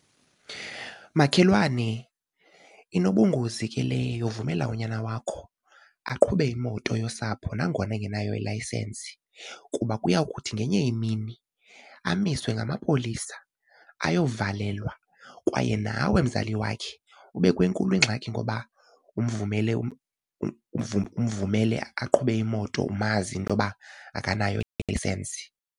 Makhelwane, inobungozi ke le yovumela unyana wakho aqhube imoto yosapho nangona engenayo ilayisensi kuba kuyawuthi ngenye imini amiswe ngamapolisa ayovalelwa kwaye nawe mzali wakhe ube kwenkulu ingxaki ngoba umvumele umvumele aqhube imoto umazi intoba akanayo ilayisensi.